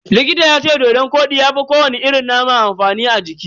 Likita yace dodon kodi ya fi ko wani irin nama amfani a jiki.